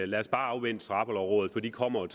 lad os bare afvente straffelovrådet for det kommer